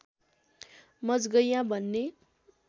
मजगैयाँ भन्ने